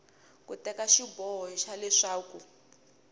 ku teka xiboho xa leswaku